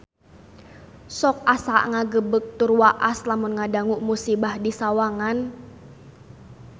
Sok asa ngagebeg tur waas lamun ngadangu musibah di Sawangan